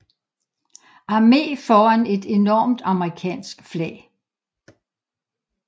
Arme foran et enormt amerikansk flag